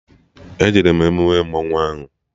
E jere m emume mmanwụ ahụ